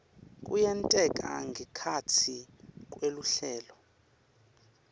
kuyenteka ngekhatsi kweluhlelo